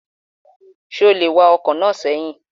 Ṣé o lè wa ọkọ̀ náà sẹ́yìn?